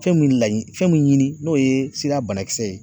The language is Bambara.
Fɛn min laɲini, fɛn mun ɲini n'o ye sida banakisɛ ye